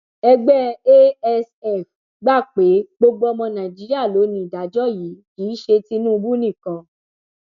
ẹgbẹ asf gbà pé gbogbo ọmọ nàìjíríà ló ní ìdájọ yìí kì í ṣe tinubu nìkan